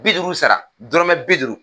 Bi duuru sara dɔrɔmɛ bi duuru